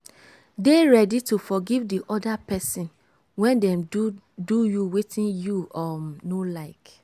dey ready to forgive di oda person when dem do do you wetin you um no like